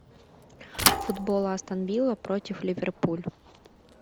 футбол астон вилла против ливерпуль